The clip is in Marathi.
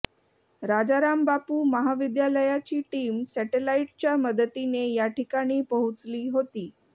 राजाराम बापू महाविद्यालयाची टीम सॅटेलाईटच्या मदतीने या ठिकाणी पोहोचली होती